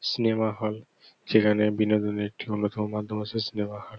Cinema hall সেখানে বিনোদনের একটি অন্যতম মাধ্যম হচ্ছে সিনেমা হল ।